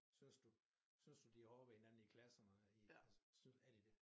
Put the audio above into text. Synes du synes de hårde ved hinanden i klasserne i synes er de dét?